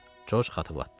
Corc xatırlatdı.